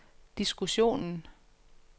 diskussionen